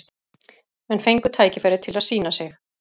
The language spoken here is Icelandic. Menn fengu tækifæri til að sýna sig.